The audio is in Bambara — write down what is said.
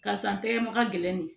Karisa tɛgɛ ma ka gɛlɛn